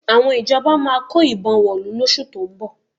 Àwọn ìjọba máa kó ìbọn wọ̀lú lóṣù tó ń bọ̀